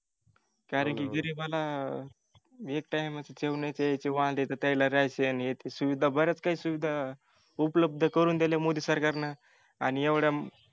कारण गरिबाला एक TIME जेवण्याचे वांदे तर त्यांना राहायची ह्याची सुविधा अश्या ब-याच काही सुविधा उपलब्ध करून दिल्या मोदी सरकारनं आणि एवढ्या